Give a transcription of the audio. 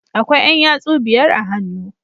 Akwai Yan yatsu biyar a hannu